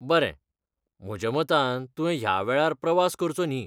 बरें. म्हज्या मतान तुवें ह्या वेळार प्रवास करचो न्ही.